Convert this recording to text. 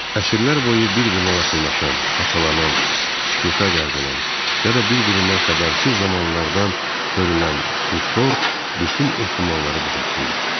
Əsrlər boyu bir-birinə yaxınlaşan, haçalanan, sükuta qərq olan, ya da bir-birindən xəbərsiz zamanlardan hörülən bu tor bütün ehtimalları qucaqlayır.